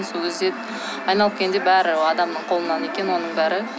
сол кезде айналып келгенде бәрі адамның қолынан екен оның бәрі